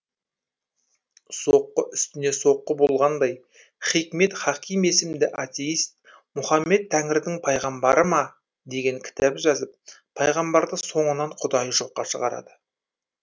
соққы үстіне соққы болғандай хикмет хаким есімді атейст мұхаммед тәңірдің пайғамбары ма деген кітап жазып пайғамбарды соңынан құдайы жоққа шығарады